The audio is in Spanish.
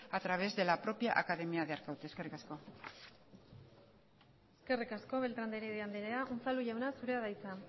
a través de la propia academia de arkaute eskerrik asko eskerrik asko beltrán de heredia andrea unzalu jauna zurea da hitza